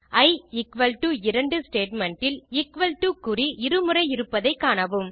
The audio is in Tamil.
இ எக்குவல் டோ 2 ஸ்டேட்மெண்ட் இல் எக்குவல் டோ குறி இரு முறை இருப்பதை காணவும்